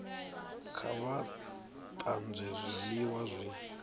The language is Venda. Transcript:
kha vha tanzwe zwiliwa zwi